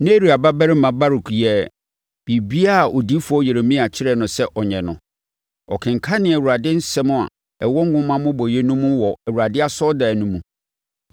Neria babarima Baruk yɛɛ biribiara a odiyifoɔ Yeremia kyerɛɛ no sɛ ɔnyɛ no, ɔkenkanee Awurade nsɛm a ɛwɔ nwoma mmobɔeɛ no mu wɔ Awurade asɔredan no mu.